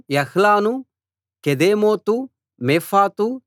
యాహసు కెదేమోతు మేఫాతు